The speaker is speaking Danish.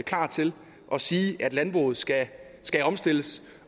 klar til at sige at landbruget skal skal omstilles